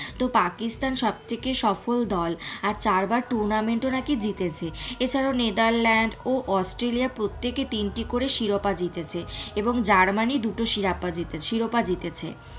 তো পাকিস্থান সব থেকে সফল দল আর চার বার tournament ও নাকি জিতেছে এছাড়াও নেদারল্যান্ড ও অস্ট্রেলিয়া প্রত্যেকে তিনটি করে শিরোপা জিতেছে এবং জার্মানি দুটো শিরোপাশিরোপা জিতেছে।